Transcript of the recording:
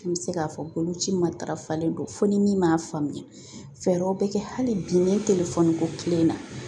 N bɛ se k'a fɔ boloci matarafalen don fo ni min m'a faamuya fɛɛrɛw bɛ kɛ hali bi ne ko kile in na